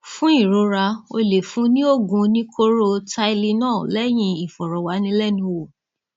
fún ìrora o lè fún un ní oògùn oníkóró tylenol lẹyìn ìfọrọwánilẹnuwò